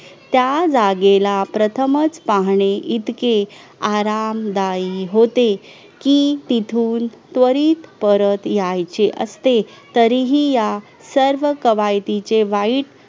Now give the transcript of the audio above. त्या जागेला प्रथमच पाहणे इतके आरामदाई होते कि तिथून त्वरित परत यायचे असते तरीही या सर्व कवयितिचे वाईट